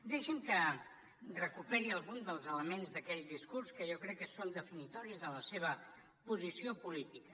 deixi’m que recuperi algun dels elements d’aquell discurs que jo crec que són definitoris de la seva posició política